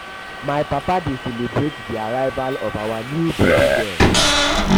um my papa um dey celebrate di arrival of our new baby girl. um